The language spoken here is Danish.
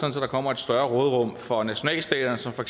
der kommer et større råderum for nationalstaterne som for